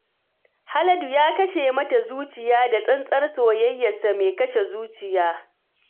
Haladu ya kashe mata zuciya da tsantsar soyayyarsa mai kashe zuciya